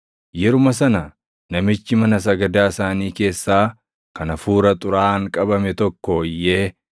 Yeruma sana namichi mana sagadaa isaanii keessaa kan hafuura xuraaʼaan qabame tokko iyyee